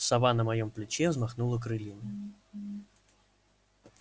сова на моем плече взмахнула крыльями